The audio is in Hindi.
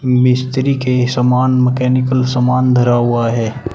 मिस्त्री के सामान मैकेनिकल सामान धरा हुआ है।